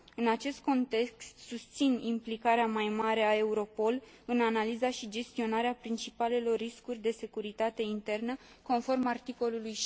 În acest context, susțin implicarea mai mare a Europol în analiza și gestionarea principalelor riscuri de securitate internă conform articolului